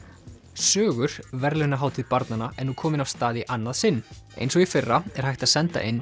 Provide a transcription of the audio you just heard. sögur verðlaunahátíð barnanna er nú komin af stað í annað sinn eins og í fyrra er hægt að senda inn